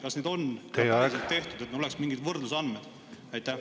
Kas need samasuguseid uuringuid on üheselt tehtud, et oleks mingeid võrdlusandmeid?